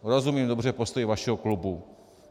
Rozumím dobře postoji vašeho klubu.